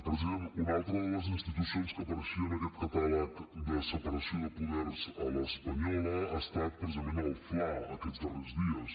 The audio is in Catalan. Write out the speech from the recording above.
president una altra de les institucions que apareixia en aquest catàleg de separació de poders a l’espanyola ha estat precisament el fla aquests darrers dies